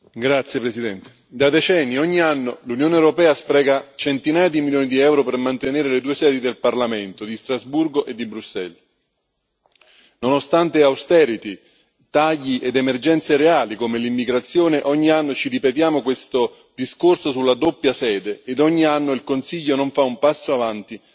Signor Presidente, onorevoli colleghi, da decenni, ogni anno, l'Unione europea spreca centinaia di milioni di euro per mantenere le due sedi del Parlamento di Strasburgo e di Bruxelles. Nonostante tagli ed emergenze reali come l'immigrazione, ogni anno ci ripetiamo questo discorso sulla doppia sede, ed ogni anno il Consiglio non fa un passo avanti